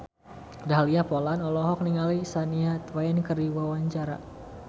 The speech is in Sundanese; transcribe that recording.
Dahlia Poland olohok ningali Shania Twain keur diwawancara